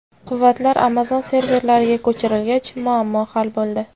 Quvvatlar Amazon serverlariga ko‘chirilgach, muammo hal bo‘ldi.